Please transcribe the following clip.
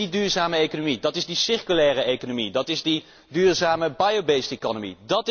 Dat is die duurzame economie, dat is die circulaire economie, dat is die duurzame bio based economy